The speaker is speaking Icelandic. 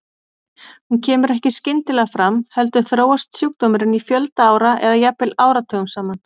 Hún kemur ekki skyndilega fram heldur þróast sjúkdómurinn í fjölda ára eða jafnvel áratugum saman.